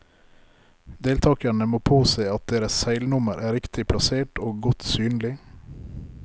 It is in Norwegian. Deltakerne må påse at deres seilnummer er riktig plassert og godt synlig.